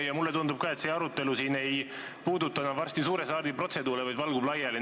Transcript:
Ka mulle tundub, et see arutelu ei puuduta enam varsti suure saali protseduure, vaid valgub laiali.